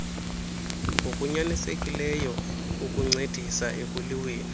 ngokunyanisekileyo ukuncedisa ekuliweni